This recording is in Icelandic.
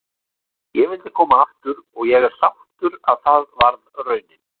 Ég vildi koma aftur og ég er sáttur að það varð raunin.